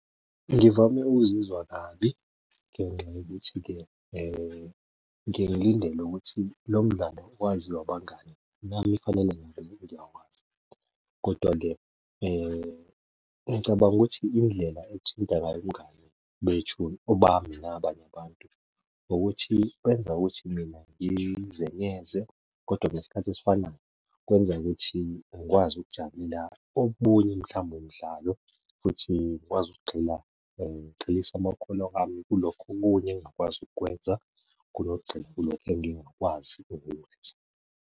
Ngivame ukuzizwa kabi ngenxa yokuthi-ke ngiyeke ngilindele ukuthi lo mdlalo waziwa abangani, nami kufanele ngabe ngiyawazi kodwa-ke ngicabanga ukuthi indlela ethinta ngayo ubungani bethu, obani nabanye abantu, ukuthi kwenza ukuthi mina ngizenyeze kodwa ngesikhathi esifanayo kwenza ukuthi ngikwazi ukujabulela omunye mhlawumbe umdlalo futhi ngikwazi ukugxila, ngigxilise amakhono ami kulokho okunye engingakwazi ukukwenza kunokugxila kulokhu engingakwazi ukukwenza.